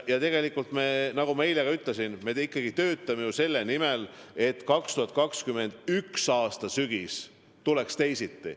Tegelikult me, nagu ma ka eile ütlesin, töötame selle nimel, et 2021. aasta sügis tuleks teisiti.